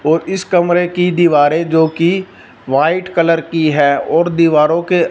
और इस कमरे की दीवारे जोकि वाइट कलर की है और दीवारों के--